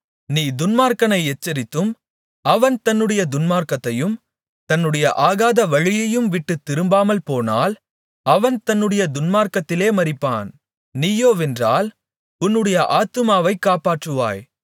நீ துன்மார்க்கனை எச்சரித்தும் அவன் தன்னுடைய துன்மார்க்கத்தையும் தன்னுடைய ஆகாத வழியையும் விட்டுத் திரும்பாமல்போனால் அவன் தன்னுடைய துன்மார்க்கத்திலே மரிப்பான் நீயோவென்றால் உன்னுடைய ஆத்துமாவைக் காப்பாற்றுவாய்